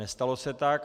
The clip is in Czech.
Nestalo se tak.